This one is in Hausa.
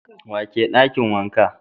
Wa ke a dakin wankan?